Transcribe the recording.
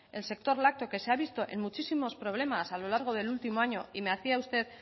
el sector lácteo que se ha visto en muchísimos problemas a lo largo del último año y me decía usted